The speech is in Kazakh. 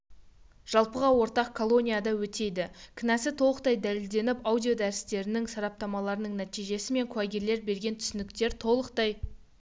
жалпыға ортақ колонияда өтейді кінәсі толықтай дәлелденіп аудиодәрістердің сараптамаларының нәтижесі мен куәгерлер берген түсініктер толықтай